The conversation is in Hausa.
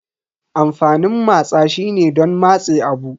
Amfanin matsa shine don matse abu.